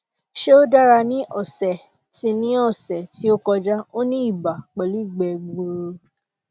ṣé ó dára ní ọsẹ tí ní ọsẹ tí ó kọjá ó ní ibà pẹlú igbe gbuuru